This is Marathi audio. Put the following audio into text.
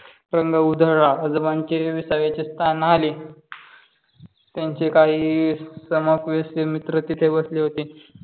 रंग उधळला आजोबांचे विसावे शतक आले त्यांच्या काही समूह west चे मित्र तिथे बसले होते.